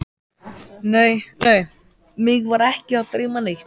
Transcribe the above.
Nei, nei, mig var ekki að dreyma neitt.